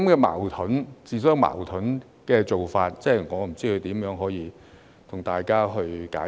這種自相矛盾的做法，我也不知如何向大家解釋。